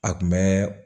A kun bɛ